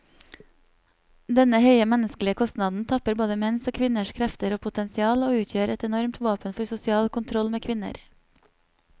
Denne høye menneskelige kostnaden tapper både menns og kvinners krefter og potensial, og utgjør et enormt våpen for sosial kontroll med kvinner.